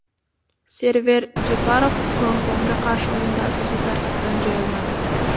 Server Jeparov Gonkongga qarshi o‘yinda asosiy tarkibdan joy olmadi.